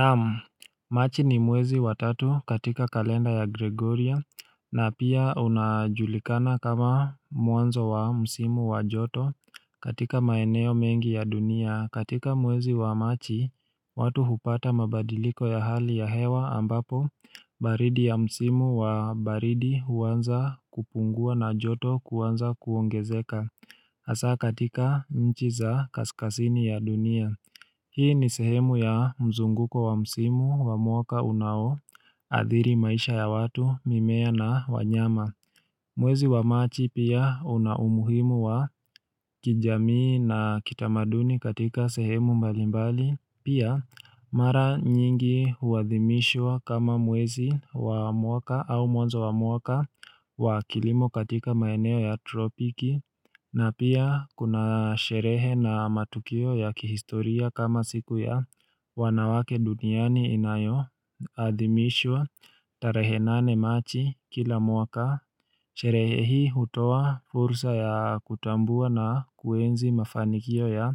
Naam, machi ni mwezi wa tatu katika kalenda ya Gregoria, na pia unajulikana kama mwanzo wa msimu wa joto katika maeneo mengi ya dunia. Katika mwezi wa machi, watu hupata mabadiliko ya hali ya hewa ambapo baridi ya msimu wa baridi huanza kupungua na joto kuanza kuongezeka. Asa katika nchi za kaskasini ya dunia. Hii ni sehemu ya mzunguko wa msimu wa mwaka unaoadhiri maisha ya watu, mimea na wanyama. Mwezi wa machi pia una umuhimu wa kijamii na kitamaduni katika sehemu mbalimbali. Pia mara nyingi huwathimishwa kama mwezi wa mwaka au mwanzo wa mwaka wa kilimo katika maeneo ya tropiki. Na pia kuna sherehe na matukio ya kihistoria kama siku ya wanawake duniani inayo, adhimishwa tarehe nane machi kila mwaka, sherehe hii utoa fursa ya kutambua na kuenzi mafanikio ya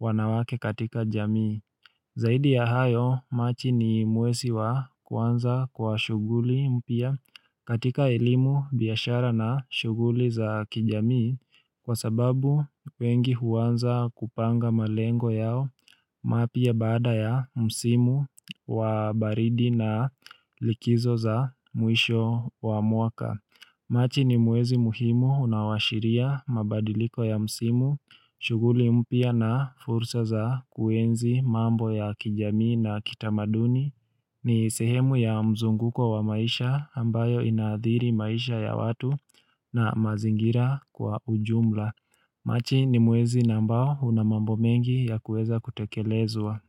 wanawake katika jamii. Zaidi ya hayo, machi ni mwezi wa kwanza kwa shuguli mpya katika elimu biashara na shuguli za kijamii kwa sababu wengi huanza kupanga malengo yao mapya baada ya msimu wa baridi na likizo za mwisho wa mwaka. Machi ni mwezi muhimu unaowashiria mabadiliko ya msimu, shuguli mpya na fursa za kuenzi mambo ya kijamii na kitamaduni, ni sehemu ya mzunguko wa maisha ambayo inaadhiri maisha ya watu na mazingira kwa ujumla. Machi ni mwezi na ambao una mambo mengi ya kueza kutekelezwa.